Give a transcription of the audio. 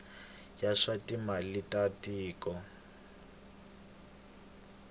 ya swa timali ta tiko